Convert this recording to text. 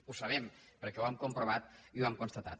ho sabem perquè ho hem comprovat i ho hem constatat